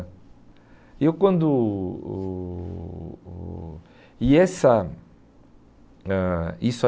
Eu quando o o o e essa ãh e isso